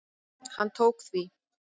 Hann tók því.